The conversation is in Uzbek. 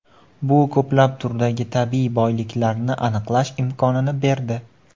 Bu ko‘plab turdagi tabiiy boyliklarni aniqlash imkonini berdi.